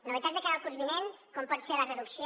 novetats de cara al curs vinent com pot ser la reducció